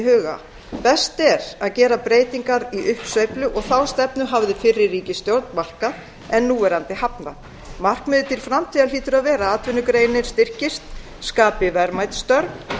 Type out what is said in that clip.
huga best er að gera breytingar í uppsveiflu og þá stefnu hafði fyrri ríkisstjórn markað en núverandi hafnað markmiðið til framtíðar hlýtur að vera að atvinnugreinin styrkist skapi verðmæt störf